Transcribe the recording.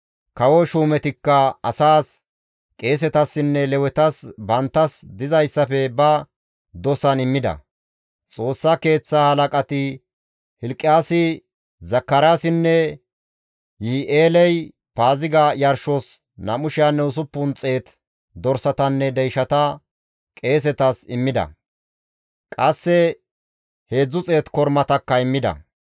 Kawo shuumetikka asaas, qeesetassinne Lewetas banttas dizayssafe ba dosan immida; Xoossa Keeththaa halaqati Hilqiyaasi, Zakaraasinne Yihi7eeley Paaziga yarshos 2,600 dorsatanne deyshata qeesetas immida; qasse 300 kormatakka immida.